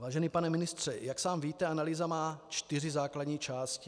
Vážený pane ministře, jak sám víte, analýza má čtyři základní části.